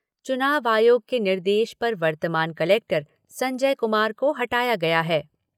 चुनाव आयोग के निर्देश पर वर्तमान कलेक्टर संजय कुमार को हटाया गया है।